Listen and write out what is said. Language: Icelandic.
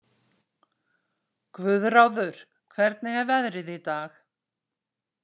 Guðráður, hvernig er veðrið í dag?